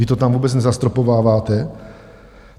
Vy to tam vůbec nezastropováváte?